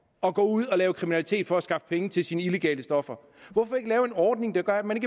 at gå ud og lave kriminalitet for at skaffe penge til sine illegale stoffer hvorfor ikke lave en ordning der gør at man